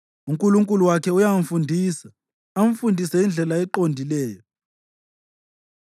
UNkulunkulu wakhe uyamfundisa, amfundise indlela eqondileyo.